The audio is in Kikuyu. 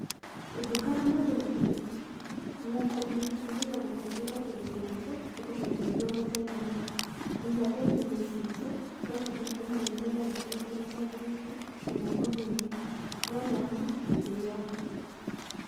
Ũngĩkora mũndũ na kĩndũ, mũtumia mũkũrũ na kĩndũ kĩritũ, nĩ kũmũteithia ũmũteithagia, nginya ngeithi-inĩ ciitũ no nginya ũmũgeithie na gĩtĩĩo kĩria kĩagĩrĩĩre na moko merĩ na ũmuonie gĩtĩĩo.